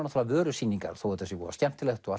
vörusýningar þó þetta sé voða skemmtilegt og